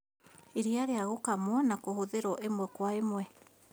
Iriia rĩa gũkamwo na kũhũthĩrwo ĩmwe kwa ĩmwe